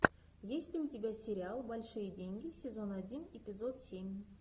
есть ли у тебя сериал большие деньги сезон один эпизод семь